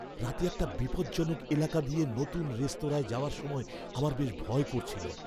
রাতে একটা বিপজ্জনক এলাকা দিয়ে নতুন রেস্তোরাঁয় যাওয়ার সময় আমার বেশ ভয় করছিল।